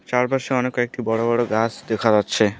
চারপাশে অনেক কয়েকটি বড় বড় গাস দেখা যাচ্ছে।